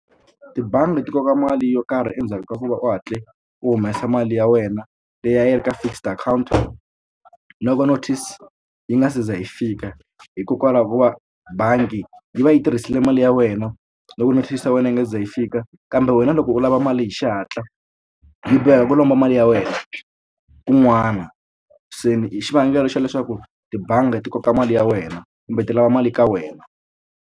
Tibangi ti koka mali yo karhi endzhaku ka ku va u hatle u humesa mali ya wena leyi a yi ri ka fixed account loko notice yi nga se za yi fika hikokwalaho ko va bangi yi va yi tirhisile mali ya wena loko notice ya wena yi nga ze yi fika kambe wena loko u lava mali hi xihatla yi boheka ku lomba mali ya wena kun'wana se ni hi xivangelo xa leswaku tibangi ti koka mali ya wena kumbe ti lava mali ka wena.